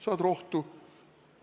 Saad rohtu!